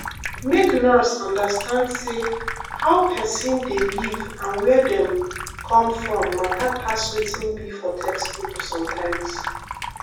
make nurse understand say how person dey live and where dem come from matter pass wetin be for textbook sometimes.